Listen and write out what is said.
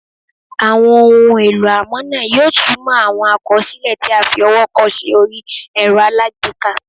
Àwọn ohun èlò amọ̀nà yóò túmọ̀ àwọn àkọsílẹ̀ tí a fi ọwọ́ kọ sí orí ẹ̀rọ alágbèéká